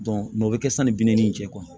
o bɛ kɛ sani bi naani nin jɛkulu